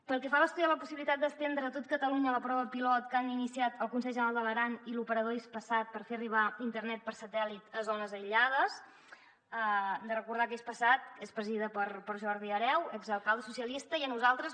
pel que fa a estudiar la possibilitat d’estendre a tot catalunya la prova pilot que han iniciat el consell general de l’aran i l’operador hispasat per fer arribar internet per satèl·lit a zones aïllades hem de recordar que hispasat és presidida per jordi hereu exalcalde socialista i a nosaltres